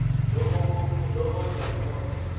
lo othi akubona